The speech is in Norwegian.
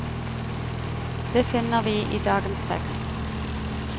Det finner vi i dagens tekst.